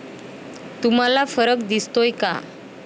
तुम्हाला फरक दिसतोय का?